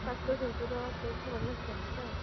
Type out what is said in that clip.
ତୁମ ଶାଶୁ ଶଶୁର ତୋ ଭଲ ଅଛନ୍ତି ତ?